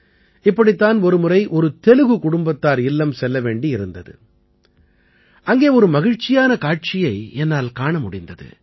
இப்படித் தான் ஒரு முறை ஒரு தெலுகு குடும்பத்தினர் இல்லம் செல்லவேண்டி இருந்தது அங்கே ஒரு மகிழ்ச்சியான காட்சியை என்னால் காண முடிந்தது